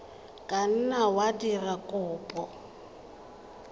ka nna wa dira kopo